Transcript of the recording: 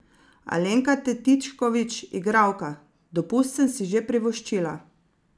Alenka Tetičkovič, igralka: "Dopust sem si že privoščila.